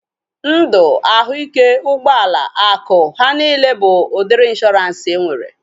Ndụ, ahụike, ụgbọala, akụ, ha niile bụ udiri ịnshọransị enwere